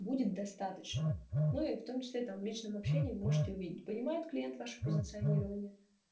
будет достаточно ну и в том числе там в личном общении можете увидеть понимает клиент ваше позиционирование